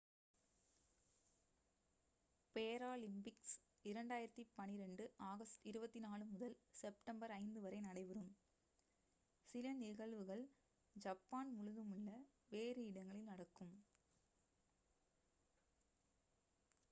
Paralympics 2012 August 24 முதல் September 5 வரை நடைபெறும் சில நிகழ்வுகள் ஜப்பான் முழுதுமுள்ள வேறு இடங்களில் நடக்கும்